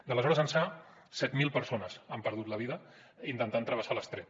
d’aleshores ençà set mil persones han perdut la vida intentant travessar l’estret